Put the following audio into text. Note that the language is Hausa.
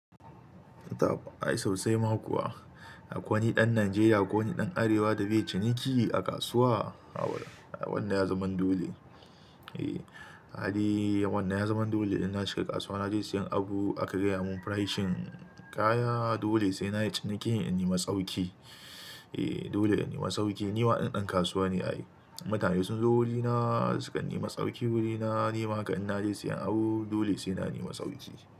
Ai sosai ma kuwa. Akwai wani ɗan Najeriya ko wani ɗan Arewa da bai yi ciniki a kasuwa. Haba wannan ya zaman dole. Eh hali wannan ya zaman dole idan na shiga kasuwa na je siyan abu aka gaya mun pricing kaya dole sai na yi cinikin in nema tsauki. Eh dole in nema sauki. Ni ma din ɗan kasuwa ne ai. Mutane sun zo wurina sukan nema tsauki wurina. Ni ma haka in na je siyan abu dole sai na nema sauki.